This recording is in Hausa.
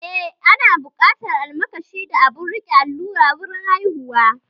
Eh, ana buƙatar almakashi da abun riƙe allura wurin haihuwa